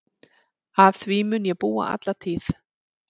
Að því mun ég búa alla tíð.